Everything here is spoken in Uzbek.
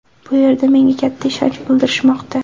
Bu yerda menga katta ishonch bildirishmoqda.